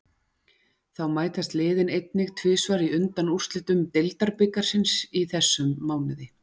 Þá mætast liðin einnig tvisvar í undanúrslitum deildarbikarsins í þessum mánuði.